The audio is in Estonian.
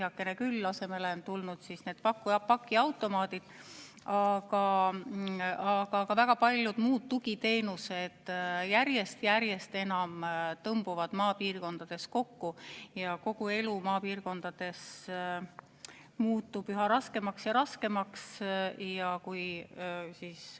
Heakene küll, asemele on tulnud pakiautomaadid, aga ka väga paljud muud tugiteenused tõmbuvad järjest enam maapiirkondades kokku ja elu muutub seal üha raskemaks ja raskemaks.